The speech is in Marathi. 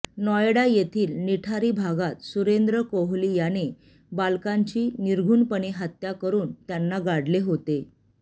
नोयडा येथील निठारी भागात सुरेंद्र कोहली याने बालकांची नृशंसपणे हत्या करून त्यांना गाडले होते